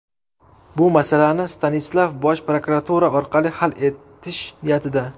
Bu masalani Stanislav bosh prokuratura orqali hal etish niyatida.